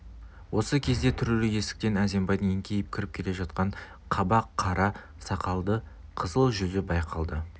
осы кезде түрулі есіктен әзімбайдың еңкейіп кіріп келе жатқан қаба қара сақалды қызыл жүзі байқалды